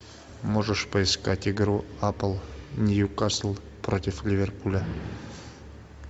можешь поискать игру апл ньюкасл против ливерпуля